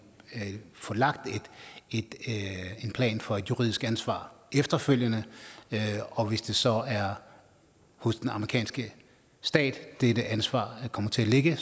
få lagt en plan for at et juridisk ansvar efterfølgende og hvis det så er hos den amerikanske stat dette ansvar kommer til at ligge